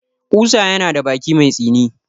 Ƙusa yana da baki mai tsini.